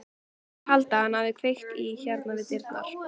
Þeir halda að hann hafi kveikt í hérna við dyrnar.